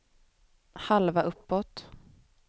halva uppåt